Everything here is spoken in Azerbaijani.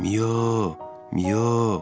Miyo, miyo.